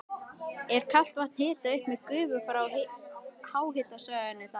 Er kalt vatn hitað upp með gufu frá háhitasvæðinu þar.